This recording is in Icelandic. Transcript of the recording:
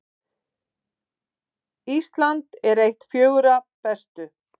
Ísland eitt fjögurra bestu